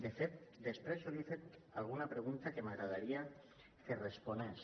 de fet després jo li he fet alguna pregunta que m’agradaria que respongués